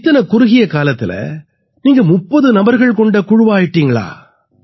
இத்தனை குறுகிய காலத்தில நீங்க 30 நபர்கள் கொண்ட குழுவா ஆயிட்டீங்களா